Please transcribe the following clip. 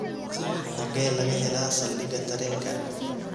hage laga hela saldhiga tareenka